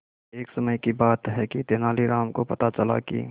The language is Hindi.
एक समय की बात है कि तेनालीराम को पता चला कि